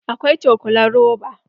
Akwai cokulan roba.